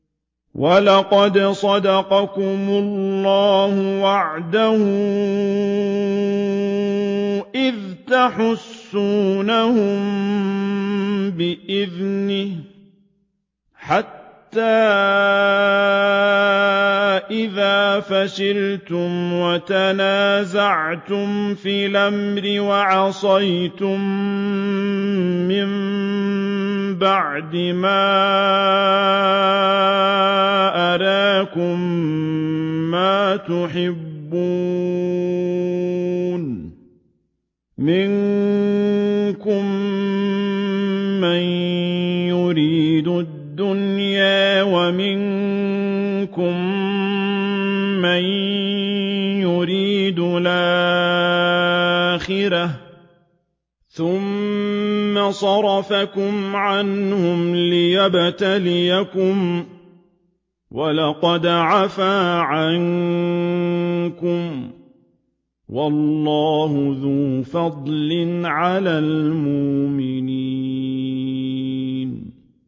وَلَقَدْ صَدَقَكُمُ اللَّهُ وَعْدَهُ إِذْ تَحُسُّونَهُم بِإِذْنِهِ ۖ حَتَّىٰ إِذَا فَشِلْتُمْ وَتَنَازَعْتُمْ فِي الْأَمْرِ وَعَصَيْتُم مِّن بَعْدِ مَا أَرَاكُم مَّا تُحِبُّونَ ۚ مِنكُم مَّن يُرِيدُ الدُّنْيَا وَمِنكُم مَّن يُرِيدُ الْآخِرَةَ ۚ ثُمَّ صَرَفَكُمْ عَنْهُمْ لِيَبْتَلِيَكُمْ ۖ وَلَقَدْ عَفَا عَنكُمْ ۗ وَاللَّهُ ذُو فَضْلٍ عَلَى الْمُؤْمِنِينَ